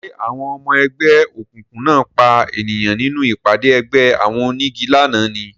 Ṣé àwọn ọmọ ẹgbẹ́ òkùnkùn náà pa ènìyàn nínú ìpàdé ẹgbẹ́ àwọn onígi lánàá ni